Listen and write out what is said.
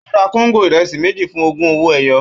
Ó ra kóńgò ìrẹsì méjì fún ogún owó ẹyọ